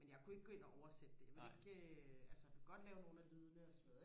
men jeg kunne ikke gå ind og oversætte det jeg vil ikke altså jeg kunne godt lave nogle af lydene og sådan noget